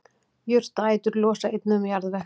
jurtaætur losa einnig um jarðveg